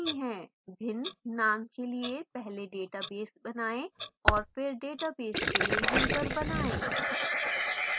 भिन्न names के लिए पहले database बनाएं और फिर database के लिए यूजर बनाएं